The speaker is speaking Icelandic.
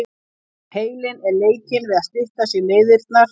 Heilinn er leikinn við að stytta sér leiðirnar.